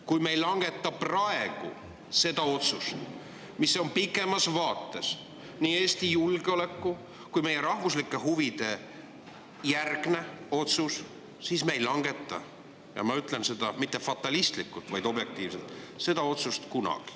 Kui me ei langeta praegu seda otsust, mis on pikemas vaates nii Eesti julgeoleku kui ka meie rahvuslike huvide järgne otsus, siis me ei langeta – ja ma ütlen seda mitte fatalistlikult, vaid objektiivselt – seda otsust kunagi.